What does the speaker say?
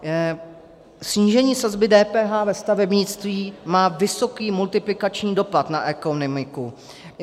Snížení sazby DPH ve stavebnictví má vysoký multiplikační dopad na ekonomiku.